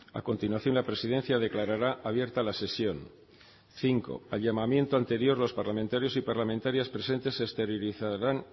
a continuación la presidencia declarará abierta la sesión cinco al llamamiento anterior los parlamentarios y parlamentarias presentes exteriorizarán